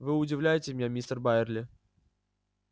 вы удивляете меня мистер байерли